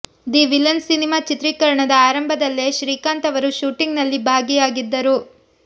the villain cinema ಚಿತ್ರೀಕರಣದ ಆರಂಭದಲ್ಲೇ ಶ್ರೀಕಾಂತ್ ಅವರು ಶೂಟಿಂಗ್ ನಲ್ಲಿ ಭಾಗಿ ಆಗಿದ್ದರು